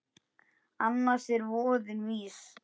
Annars er voðinn vís.